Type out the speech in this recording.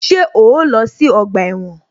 Ṣé o lọ sí ọgbà ẹ̀wọ̀n?